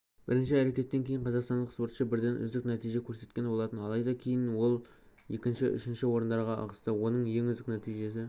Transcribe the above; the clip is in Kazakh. бірінші әрекеттен кейін қазақстандық спортшы бірден үздік нәтиже көрсеткен болатын алайда кейін ол екінші үшінші орындарға ығысты оның ең үздік нәтижесі